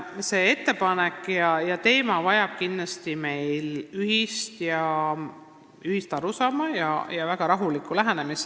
See ettepanek ja teema vajab kindlasti ühist arusaama ja väga rahulikku lähenemist.